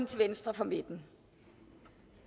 til venstre for midten